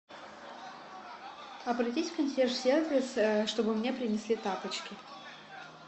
обратись в консьерж сервис чтобы мне принесли тапочки